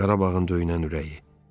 Qarabağın döyünən ürəyi.